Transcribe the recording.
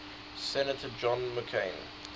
senator john mccain